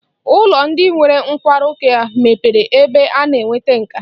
Ụlọ ndi nwere nkwarụ ka mepere ebe a na-enweta nkà